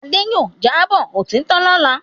Adé yóò jábọ̀ òtítọ́ lọ́la.